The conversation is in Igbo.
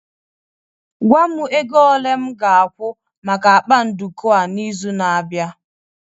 gwa m ego ole m ga-akwụ maka akpa nduku a n'izu na-abịa